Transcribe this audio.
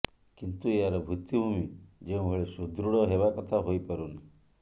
କିନ୍ତୁ ଏହାର ଭିତ୍ତିଭୂମି ଯେଉଁଭଳି ସୁଦୃଢ଼ ହେବା କଥା ହୋଇପାରୁନି